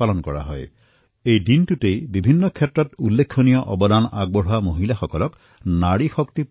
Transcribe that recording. আজিকালি নাৰী শক্তি পুৰস্কাৰৰ জৰিয়তে বিভিন্ন ক্ষেত্ৰত অনুকৰণীয় কাৰ্য সমাপন কৰা মহিলাসকলক